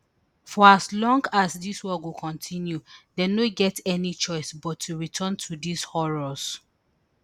for as long as dis war go kontinu dem no get any choice but to return to dis horrors